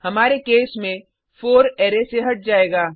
हमारे केस में 4 अरै से हट जायेगा